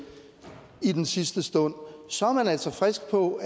i den sidste stund så er man altså frisk på